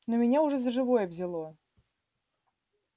но меня уже за живое взяло